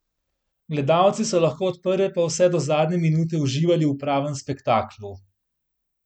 Gledalci so lahko od prve pa vse do zadnje minute uživali v pravem spektaklu.